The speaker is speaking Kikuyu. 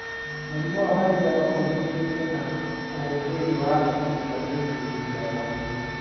Mũrimũ wa malaria no ũgirĩrĩke na ũhũthĩri wa neti cia kũgirĩrĩria rwagĩ.